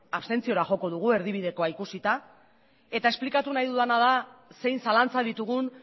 abstentziora joko dugu erdibidekoa ikusita eta esplikatu nahi dudana da zein zalantza ditugun